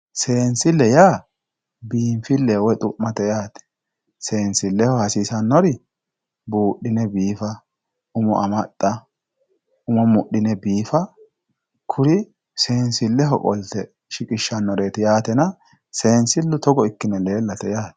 seensille yaa biinfillehu woy xu'mate yaate seensilleho hasiisannori buudhine biifa umo amaxxa umo mudhine biifa kuri seensilleho qolte shiqishshanoreeti yaatena seensillu togo ikkine leellate yaate.